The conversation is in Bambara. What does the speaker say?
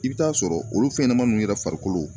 I bɛ t'a sɔrɔ olu fɛnɲanaman ninnu yɛrɛ farikolo